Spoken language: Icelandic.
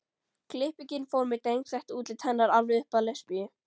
klippingin fór með drengslegt útlit hennar alveg upp að lesbíu